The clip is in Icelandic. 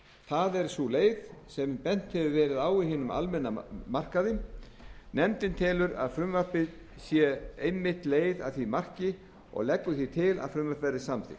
er sú leið sem bent hefur verið á á hinum almenna markaði nefndin telur að frumvarpið sé einmitt leið að því marki og leggur því til að frumvarpið verði samþykkt